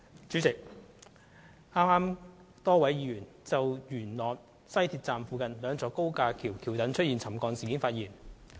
主席，剛才，多位議員就西鐵元朗站附近兩座高架橋橋躉的沉降事件發言。